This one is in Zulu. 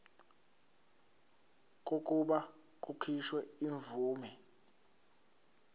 kokuba kukhishwe imvume